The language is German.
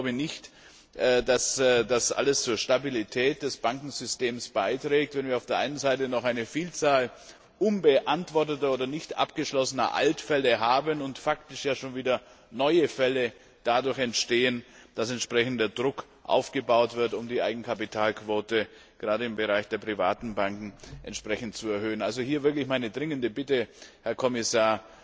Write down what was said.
Ich glaube nicht, dass das alles zur Stabilität des Bankensystems beiträgt, wenn wir auf der einen Seite noch eine Vielzahl unbeantworteter oder nicht abgeschlossener Altfälle haben und faktisch ja schon wieder neue Fälle dadurch entstehen, dass entsprechender Druck aufgebaut wird, um die Eigenkapitalquote gerade im Bereich der privaten Banken entsprechend zu erhöhen. Hier also wirklich meine dringende Bitte, Herr Kommissar,